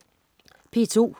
P2: